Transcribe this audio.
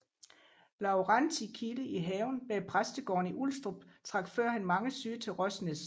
Laurentii Kilde i haven bag præstegården i Ulstrup trak førhen mange syge til Røsnæs